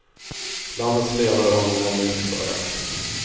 Landets ledare har nog ändå inte klagat.